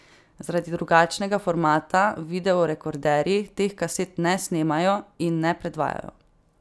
Zaradi drugačnega formata videorekorderji teh kaset ne snemajo in ne predvajajo.